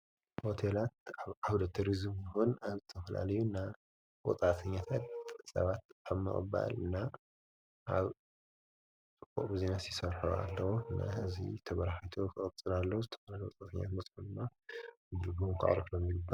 ሆቴላት ኣብ ዓውደ ትሪዝምን ኣብ ዝተፍላለዩ ናይ ወፃእተኛታት ሰባት ኣብ ምቕባል እና ኣብዚኦም ይሰርሑ ኣለዉ፡፡ እዚ ተበራኺቱ ኽቕፅል ኣለዎ፡፡ ዝተፈላለዩ ወፃእተኛታት ምስኡድማ ድልጉም ቋዕርፍሎም ይኽእሉ፡፡